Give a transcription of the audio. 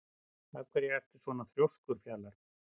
Af hverju ertu svona þrjóskur, Fjalar?